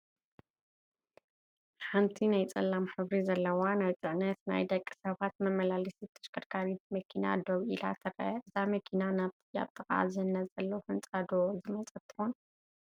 ሓንቲ ናይ ፅላም ሕብሪ ዘለዋ ናይ ፅዕነትን ናይ ደቂ ሰባት መመላለሲት ተሽከርካሪት መኪና ደው ኢላ ትረአ፡፡ እዛ መኪና ናብቲ ኣብ ጥቓኣ ዝህነፅ ዘሎ ህንፃ ዶ ዝመፀት ትኾን?